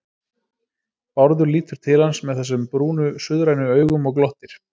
Bárður lítur til hans með þessum brúnu, suðrænu augum og glottir.